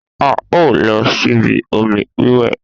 A o lọ síbi omi wíwẹ̀